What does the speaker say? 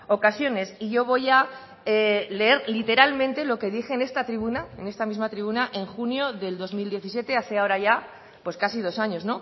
ocasiones y yo voy a leer literalmente lo que dije en esta tribuna en esta misma tribuna en junio del dos mil diecisiete hace ahora ya pues casi dos años